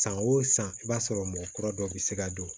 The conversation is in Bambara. San o san i b'a sɔrɔ mɔgɔ kura dɔ bɛ se ka don